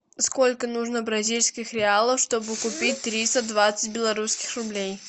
сколько нужно бразильских реалов чтобы купить триста двадцать белорусских рублей